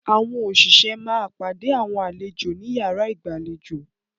Àwọn òṣìṣẹ́ máa pàdé àwọn àlejò ní yàrá ìgbàlejò.